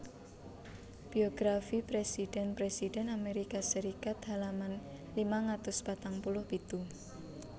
Biografi presiden presiden Amerika Serikat halaman limang atus patang puluh pitu